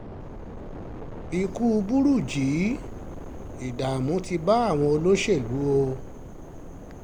ikú burújí ìdààmú ti bá àwọn olóṣèlú o